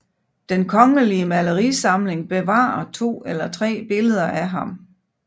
Den Kongelige Malerisamling bevarer 2 eller 3 billeder af ham